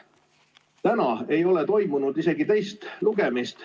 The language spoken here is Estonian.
Täna ei ole toimunud isegi teist lugemist.